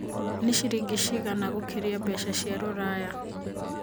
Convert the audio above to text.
nĩ ciringi cigana gũkĩria mbeca cia rũraya